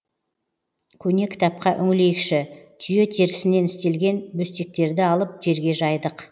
көне кітапқа үңілейікші түйе терісінен істелген бөстектерді алып жерге жайдық